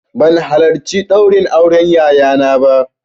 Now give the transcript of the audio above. Ban halarci ɗaurin auren yayana ba